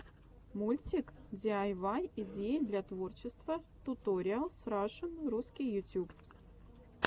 мультик диайвай идеи для творчества туториалс рашн русский ютюб